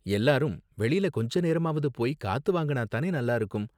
எல்லாரும் வெளில கொஞ்ச நேரமாவது போய் காத்து வாங்குனா தானே நல்லா இருக்கும்?